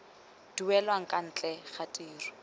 duelang kwa ntle ga tiro